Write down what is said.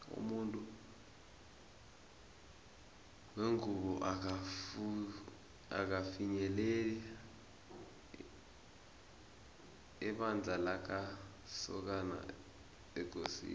umuntu wengubo akafinyeleli ebandla lamasokana ekosini